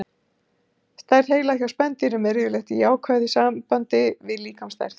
Stærð heila hjá spendýrum er yfirleitt í jákvæðu sambandi við líkamsstærð.